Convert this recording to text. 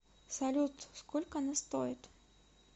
салют сколько она стоит